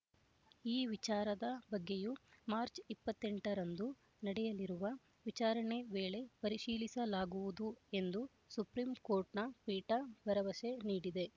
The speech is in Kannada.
ಈ ವಿಚಾರದ ಬಗ್ಗೆಯೂ ಮಾರ್ಚ್ ಇಪ್ಪತ್ತೆಂಟು ರಂದು ನಡೆಯಲಿರುವ ವಿಚಾರಣೆ ವೇಳೆ ಪರಿಶೀಲಿಸಲಾಗುವುದು ಎಂದು ಸುಪ್ರೀಂ ಕೋರ್ಟ್‌ನ ಪೀಠ ಭರವಸೆ ನೀಡಿದೆ